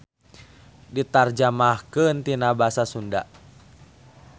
Ditarjamahkeun tina basa Sunda.